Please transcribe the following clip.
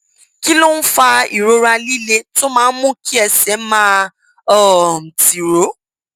kí ló ń fa ìrora líle tó máa ń mú kí ẹsẹ máa um tiro